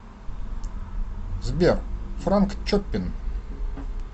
сбер франк чоппин